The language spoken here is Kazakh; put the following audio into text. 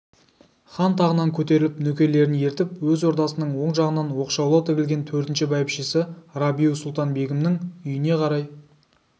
хан тағынан көтеріліп нөкерлерін ертіп өз ордасының оң жағынан оқшаулау тігілген төртінші бәйбішесі рабиу-сұлтан-бегімнің үйіне қарай